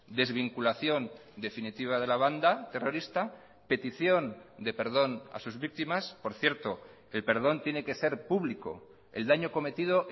desvinculación definitiva de la banda terrorista petición de perdón a sus víctimas por cierto el perdón tiene que ser público el daño cometido